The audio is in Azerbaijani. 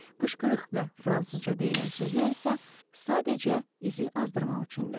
Qışqırıq və fransızca deyilən sözlər isə sadəcə izi azdırmaq üçündür.